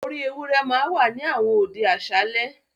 “orí ewúrẹ́ ” ma ń wà ní àwọn òde àṣálẹ́.